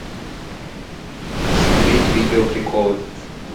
смотреть видео приколы